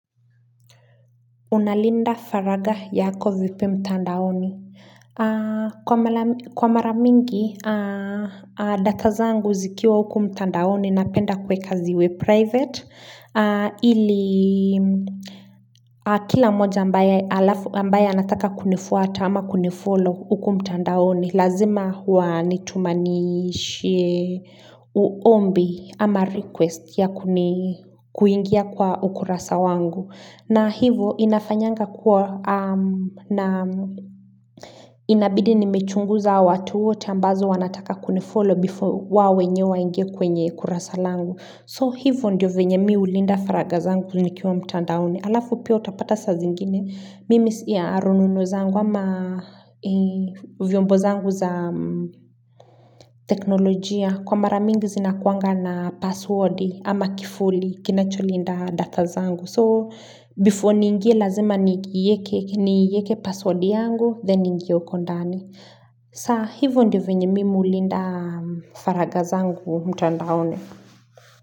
Unalinda faraga yako vipi mtandaoni. Kwa mara mingi, data zangu zikiwa huku mtandaoni na penda kuweka ziwe private. Ili kila moja ambaye anataka kunifuata ama kunifollow huku mtandaoni. Lazima huwa nitumanishe uombi ama request ya kuingia kwa ukurasa wangu. Na hivo inafanyanga kuwa na inabidi nimechunguza watu wote ambazo wanataka kunifollow before wao wenye waingie kwenye kurasa langu. So hivo ndio venye mi ulinda faraga zangu nikiwa mtandaoni. Alafu pia utapata sa zingine. Mimi ya arununo zangu ama vyombo zangu za teknolojia. Kwa maramingi zina kuanga na passwordi ama kifuli kinacholinda data zangu. So, before ni ingie lazima ni yeke password yangu, then ningie hukondani. Sa, hivyo ndi venye mimu linda faragazangu mtandaoni.